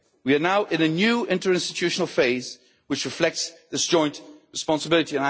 We are now in a new interinstitutional phase which reflects this joint responsibility.